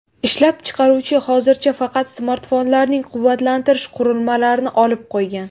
Ishlab chiqaruvchi hozircha faqat smartfonlarning quvvatlantirish qurilmalarini olib qo‘ygan.